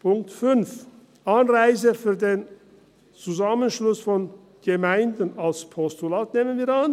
Punkt 5, Anreize für den Zusammenschluss von Gemeinden, nehmen wir als Postulat an.